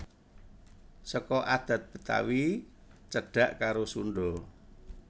Seka adhat Betawi cedhak karo Sundha